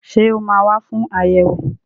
Ṣé ó máa wà fún ayẹwo?